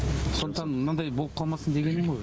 сондықтан мынандай болып қалмасын дегенім ғой